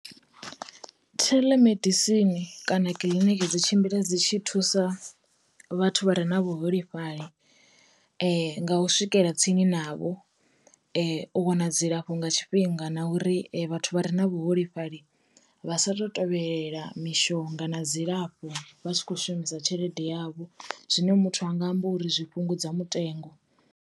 Telemedicine kana kiḽiniki dzi tshimbila dzi tshi thusa vhathu vha re na vhuholefhali nga u swikela tsini navho, u wana dzilafho nga tshifhinga, na uri vhathu vha re na vhu holefhali vha sa to tovhelela mishonga na dzilafho vha tshi kho shumisa tshelede yavho. Zwine muthu anga amba uri zwi fhungudza mutengo.